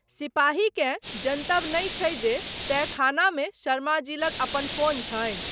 सिपाहीकेँ जनतब नहि छै जे, तहखानामे शर्माजी लग अपन फोन छनि।